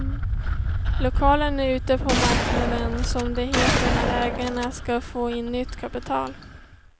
Lokalen är ute på marknaden, som det heter när ägarna ska få in nytt kapital.